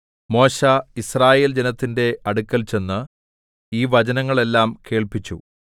മോശെ യിസ്രായേൽ ജനത്തിന്റെ അടുക്കൽ ചെന്ന് ഈ വചനങ്ങൾ എല്ലാം കേൾപ്പിച്ചു